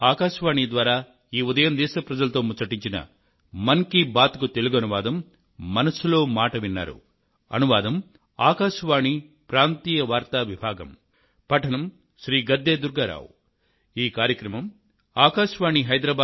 వాటిని మీరు జ్ఞాపకం పెట్టుకొనే తీరుతారు కదూ సరేనా మరి ఇక ధన్యవాదాలు